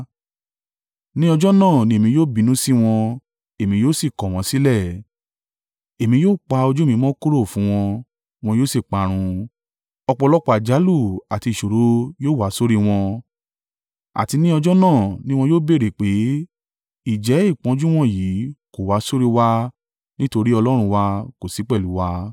Ní ọjọ́ náà ni èmi yóò bínú sí wọn èmi yóò sì kọ̀ wọ́n sílẹ̀; èmi yóò pa ojú mi mọ́ kúrò fún wọn, wọn yóò sì parun. Ọ̀pọ̀lọpọ̀ àjálù àti ìṣòro yóò wá sórí wọn, àti ní ọjọ́ náà ni wọn yóò béèrè pé, ‘Ǹjẹ́ ìpọ́njú wọ̀nyí kò wá sórí i wa nítorí Ọlọ́run wa kò sí pẹ̀lú u wa?’